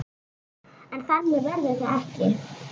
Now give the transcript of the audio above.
En þannig verður það ekki.